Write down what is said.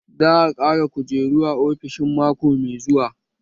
Za a ƙara kujeru a ofishin mako mai zuwa